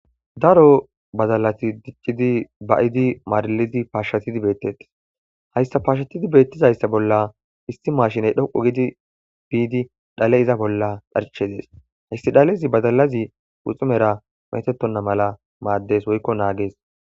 Daro baddalati diccidi ba'iddi marrrilidi pashshatidi bettes hayssa pashshatidi bettizayisa bolla issi mashshinneyi dhoqqu gidi bidi dhalle iza bolla dharccesi hayssi dhallezi baddalazi guxxunera metetonta malla maddes woyikko nagges.